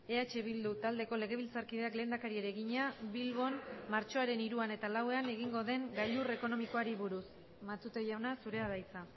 eh bildu taldeko legebiltzarkideak lehendakariari egina bilbon martxoaren hiruan eta lauan egingo den gailur ekonomikoari buruz matute jauna zurea da hitza